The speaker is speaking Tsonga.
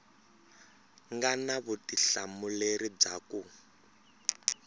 nga na vutihlamuleri bya ku